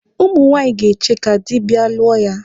Ụmụ nwaanyị ga-eche ka dị bịa lụọ ya.